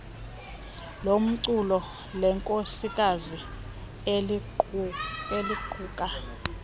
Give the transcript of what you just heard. lomculo lenkosikazi eliquka